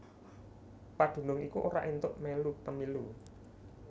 Padunung iku ora éntuk mèlu pemilu